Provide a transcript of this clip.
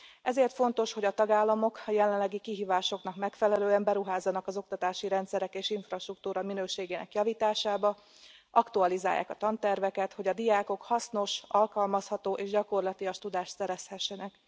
Ezért fontos, hogy a tagállamok a jelenlegi kihívásoknak megfelelően beruházzanak az oktatási rendszerek és infrastruktúra minőségének javításába, aktualizálják a tanterveket, hogy a diákok hasznos, alkalmazható és gyakorlatias tudást szerezhessenek.